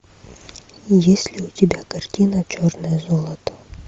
есть ли у тебя картина черное золото